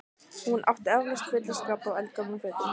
Hún átti eflaust fulla skápa af eldgömlum fötum.